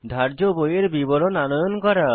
ধার্য বইয়ের বিবরণ আনয়ন করা